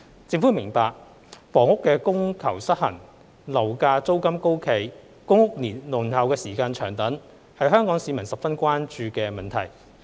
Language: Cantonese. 政府明白，房屋供求失衡、樓價租金高企、公屋輪候時間長等，是香港市民十分關注的問題。